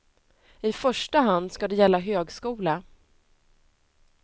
I första hand ska det gälla högskola.